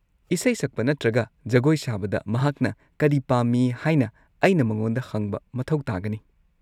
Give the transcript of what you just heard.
ꯏꯁꯩ ꯁꯛꯄ ꯅꯠꯇ꯭ꯔꯒ ꯖꯒꯣꯏ ꯁꯥꯕꯗ ꯃꯍꯥꯛꯅ ꯀꯔꯤ ꯄꯥꯝꯃꯤ ꯍꯥꯏꯅ ꯑꯩꯅ ꯃꯉꯣꯟꯗ ꯍꯪꯕ ꯃꯊꯧ ꯇꯥꯒꯅꯤ꯫